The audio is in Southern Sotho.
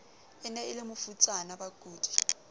ne e le mafutsana bakudi